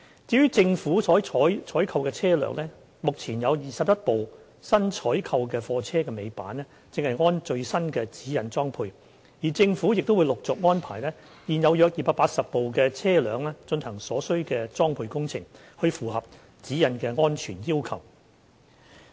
至於政府所採購的車輛，目前有21輛新採購貨車的尾板正按最新的《指引》裝配，而政府亦會陸續安排現有約280部車輛進行所需裝配工程，以符合《指引》的安全要求。